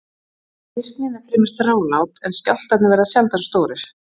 Virknin er fremur þrálát en skjálftarnir verða sjaldan stórir.